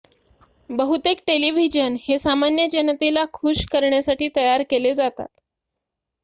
बहुतेक टेलिव्हिजन हे सामान्य जनतेला खुश करण्यासाठी तयार केले जातात